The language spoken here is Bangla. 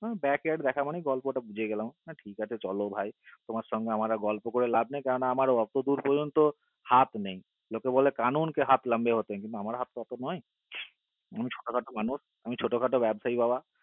back yeard এ দেখা মানে গল্প টাবুঝে গেলাম ঠিক আছে চলো ভাই তোমার সঙ্গে আমার আর গল্প করে লাভ নাই কেননা আমার এতো দূর পর্যন্ত হাত নেই লোকে বলে কানুন কে হাত লম্ব্বে হতে হে কিন্তু আমার হাত তো এতো নয় আমি ছোট খাটো মানুষ আমি ছোট খাটো ব্যবস্যা বাবা